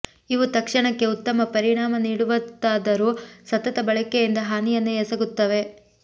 ಇವು ತಕ್ಷಣಕ್ಕೆ ಉತ್ತಮ ಪರಿಣಾಮ ನೀಡುತ್ತವಾದರೂ ಸತತ ಬಳಕೆಯಿಂದ ಹಾನಿಯನ್ನೇ ಎಸಗುತ್ತವೆ